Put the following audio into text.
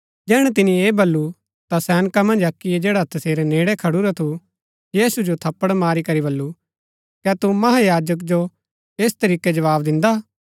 जैहणै तिनी ऐह बल्लू ता सैनका मन्ज अक्कीयै जैडा तसेरै नेड़ै खडूरा थू यीशु जो थप्पड़ मारी करी बल्लू कै तू महायाजक जो ऐस तरीकै जवाव दिन्दा हा